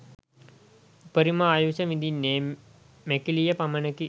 උපරිම ආයුෂ විඳින්නේ මැකිලිය පමණකි.